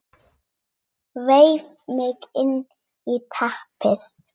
Vef mig inn í teppið.